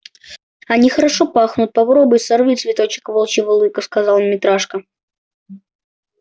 они хорошо пахнут попробуй сорви цветочек волчьего лыка сказал митрашка